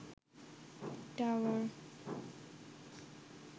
tower